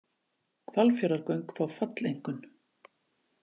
Hvalfjarðargöng fá falleinkunn